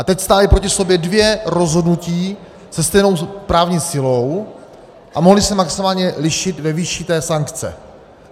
A teď stála proti sobě dvě rozhodnutí se stejnou právní silou a mohla se maximálně lišit ve výši té sankce.